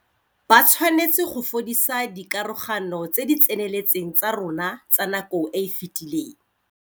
Ba tshwanetse go fodisa dikarogano tse di tseneletseng tsa rona tsa nako e e fetileng.